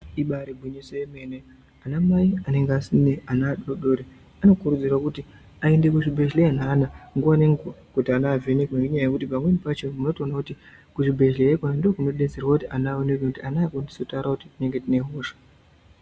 Ibaari gwinyiso yemene ana mai anonge asine ana adoodori anokurudzirwe kuti aende kuzvibhedhleya neana nguwa nenguwa kuti ana avhenekwe ngenyaya yekuti pamweni pacho unotoona kuti kuzvibhedhleya ikona ndiko kunodetserwa kuti ana eonekwe ngekuti ana azokoni kutaure kuti ndinenge ndine hosha.